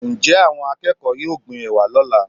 njẹ awón akeko yọọ gbín ewá lola?